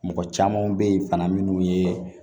Mɔgɔ caman bɛ yen fana minnu ye